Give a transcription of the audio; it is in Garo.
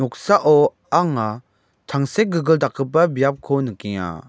noksao anga tangsekgilgil dakgipa biapko nikenga.